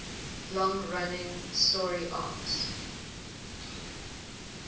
long running story arcs